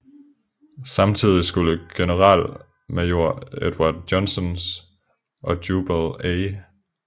Samtidig skulle generalmajor Edward Johnsons og Jubal A